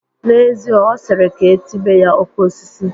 N'ezie, ọ sịrị ka e tibe ya "Okosis"